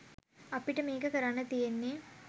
අපට මේක කරන්න තියෙන්නේ